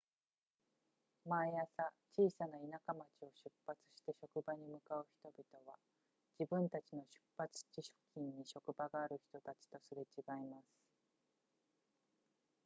毎朝小さな田舎町を出発して職場に向かう人々は自分たちの出発地付近に職場がある人たちとすれ違います